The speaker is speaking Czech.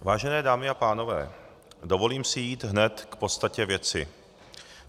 Vážené dámy a pánové, dovolím si jít hned k podstatě věci.